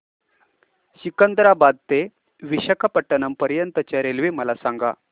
सिकंदराबाद ते विशाखापट्टणम पर्यंत च्या रेल्वे मला सांगा